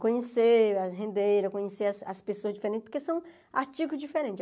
Conhecer as rendeiras, conhecer as as pessoas diferentes, porque são artigos diferentes.